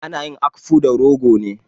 Ana yin akpu da rogo ne.